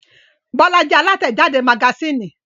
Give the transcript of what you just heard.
Bọ́lá jẹ́ alátẹ̀jáde magasínì.